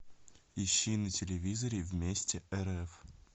ищи на телевизоре вместе рф